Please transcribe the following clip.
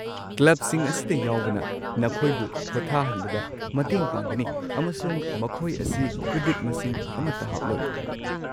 ꯀ꯭ꯂꯕꯁꯤꯡ ꯑꯁꯤꯗ ꯌꯥꯎꯕꯅ ꯅꯈꯣꯏꯕꯨ ꯄꯣꯠꯊꯥꯍꯟꯕꯗ ꯃꯇꯦꯡ ꯄꯥꯡꯒꯅꯤ, ꯑꯃꯁꯨꯡ ꯃꯈꯣꯏ ꯑꯁꯤ ꯀ꯭ꯔꯦꯗꯤꯠ ꯃꯁꯤꯡ ꯑꯃꯠꯇ ꯍꯥꯞꯂꯣꯏ꯫